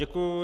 Děkuji.